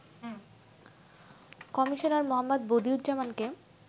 Commissioner Md. বদিউজ্জামানকে